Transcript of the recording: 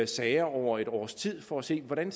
sager over et års tid for at se hvordan